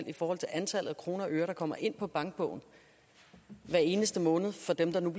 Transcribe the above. i forhold til antallet af kroner og øre der kommer ind på bankbogen hver eneste måned for dem der nu